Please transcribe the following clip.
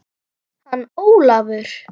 Hann Ólafur?